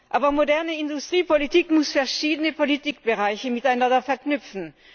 Aber moderne Industriepolitik muss verschiedene Politikbereiche miteinander verknüpfen.